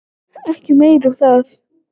Ekki meira um það.